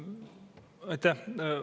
Aitäh!